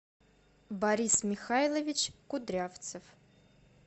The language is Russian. борис михайлович кудрявцев